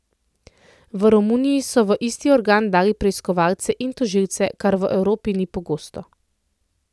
V Romuniji so v isti organ dali preiskovalce in tožilce, kar v Evropi ni pogosto.